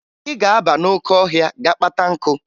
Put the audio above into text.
Ị ga-aba n'oke ọhịa ga-kpata nkụ!